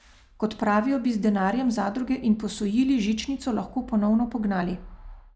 Kot pravijo, bi z denarjem zadruge in posojili žičnico lahko ponovno pognali.